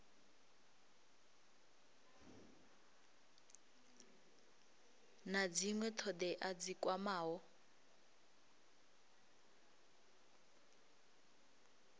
na dzinwe thodea dzi kwamaho